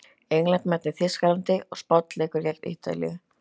England mætir Þýskalandi og Spánn leikur gegn Ítalíu.